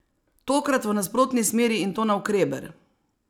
Tokrat v nasprotni smeri in to navkreber!